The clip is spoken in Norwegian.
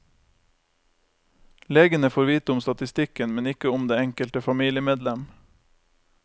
Legene får vite om statistikken, men ikke om det enkelte familiemedlem.